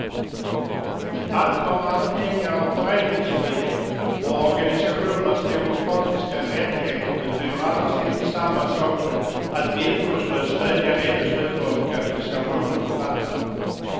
Att vara anhängare av föreningsfrihet och organisationers demokratiska rättigheter betyder annars inte samma sak som att villkorslöst stödja de beslut organisationerna fattar.